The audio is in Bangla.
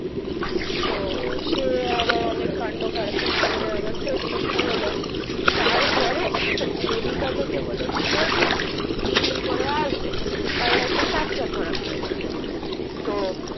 সে আবার অনেক কান্ড কারখানা করে আবার সেট করতে হলো তারপরে মেডিকা থেকে বলেছিলো যে তিন দিন পরে আসবেন হুম কারণ একটা fracture ধরা পড়েছে হুম হুম তো